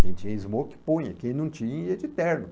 Quem tinha smoke punha, quem não tinha ia de terno.